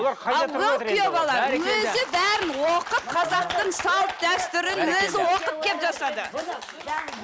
ал ол күйеу бала өзі бәрін оқып қазақтың салт дәстүрін өзі оқып келіп жасады